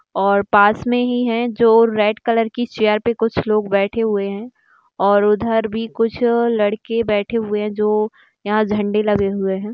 और पास में ही है जो रेड कलर की चेअर पे कुछ लोग बैठे हुए हैं और उधर भी कुछ लड़के बैठे हुए हैं जो यहाँ झंडे लगे हुए हैं।